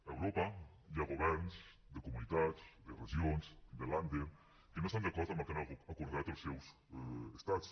a europa hi ha governs de comunitats de regions de länder que no estan d’acord amb el que han acordat els seus estats